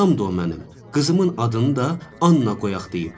Anamdır o mənim, qızımın adını da Anna qoyaq deyib.